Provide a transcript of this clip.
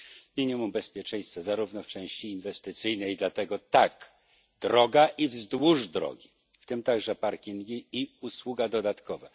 Minimum bezpieczeństwa zarówno w części inwestycyjnej, dlatego tak droga i wzdłuż drogi, w tym także parkingi i usługa dodatkowa.